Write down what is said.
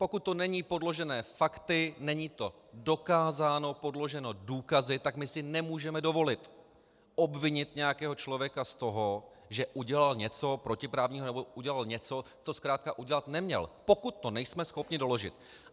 Pokud to není podloženo fakty, není to dokázáno, podloženo důkazy, tak my si nemůžeme dovolit obvinit nějakého člověka z toho, že udělal něco protiprávního nebo udělal něco, co zkrátka udělat neměl, pokud to nejsme schopni doložit.